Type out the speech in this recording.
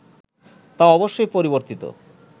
তা অবশ্যই পরিবর্তিত